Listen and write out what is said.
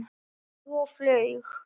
Flaug og flaug.